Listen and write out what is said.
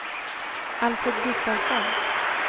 Alfred Gustavsson